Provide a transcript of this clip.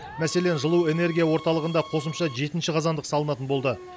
мәселен жылу энергия орталығында қосымша жетінші қазандық салынатын болды